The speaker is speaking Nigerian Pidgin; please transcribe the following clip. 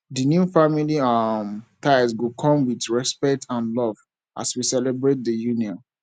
the new family um ties go come with respect and love as we celebrate di union